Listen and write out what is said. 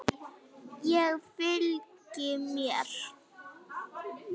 Ég fylgi þér!